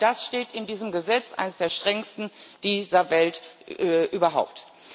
Genau das steht in diesem Gesetz, einem der strengsten der Welt überhaupt.